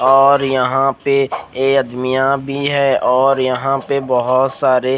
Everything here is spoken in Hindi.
और यह पे निया भी है और यह पे बोहोत सारे--